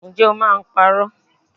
Ǹjẹ́ o máa ń parọ́?